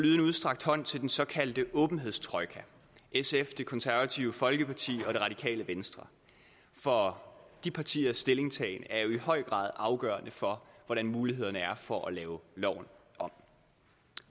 en udstrakt hånd til den såkaldte åbenhedstrojka sf det konservative folkeparti og det radikale venstre for de partiers stillingtagen er jo i høj grad afgørende for hvordan mulighederne er for at lave loven om